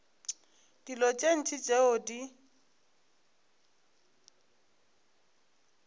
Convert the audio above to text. dilo tše ntši tšeo di